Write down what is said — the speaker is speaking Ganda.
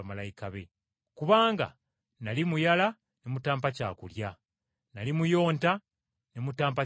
Kubanga nnali muyala ne mutampa kyakulya, nnali muyonta ne mutampa kyakunywa,